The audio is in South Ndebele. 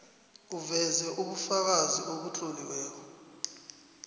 uveze ubufakazi obutloliweko